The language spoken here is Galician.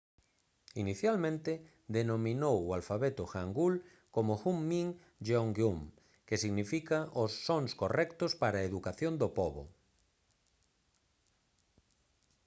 inicialmente denominou o alfabeto hangeul como hunmin jeongeum que significa os sons correctos para a educación do pobo